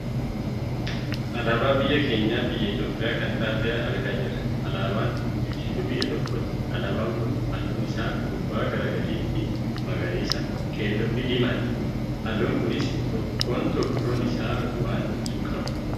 Alaabaa biyya keenyaa biyya Itoophiyaa kan taate argaa jirra. Alaabaan ibsituu biyya tokkooti. Alaabaan kun halluun isaa gubbaa gara gadiitti; magariisa, keelloo fi diimaadha. Haalluun kunis tokkoon tokkoon isaa waan ibsu qaba.